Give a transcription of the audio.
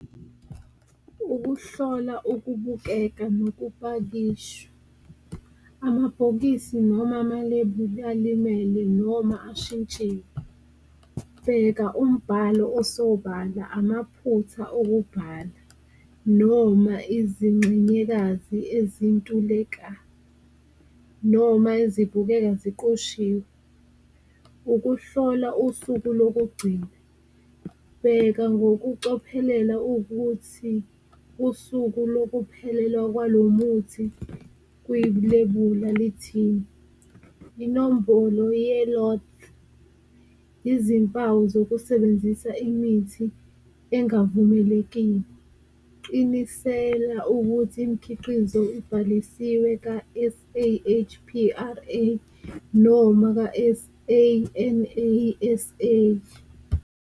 Ukuhlola ukubukeka nokupakishwa amabhokisi noma amalebuli alimele noma ashintsiwe, bheka umbhalo osobala amaphutha okubhala noma izingxenyekazi ezintuleka noma ezibukeka ziqoshiwe. Ukuhlola usuku lokugcina, bheka ngokucophelela ukuthi usuku lokuphelelwa kwalo muthi kwilebula , inombolo , izimpawu zokusebenzisa imithi engavumelekile. Qinisela ukuthi imikhiqizo ibhalisiwe ka-S_A_H_P_R_A noma ka-S_A_N_A_S_A.